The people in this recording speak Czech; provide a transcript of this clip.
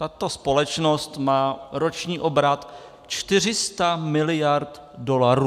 Tato společnost má roční obrat 400 miliard dolarů.